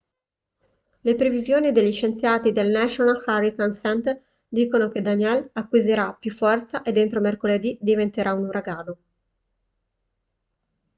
le previsioni degli scienziati del national hurricane center dicono che danielle acquisirà più forza ed entro mercoledì diventerà un uragano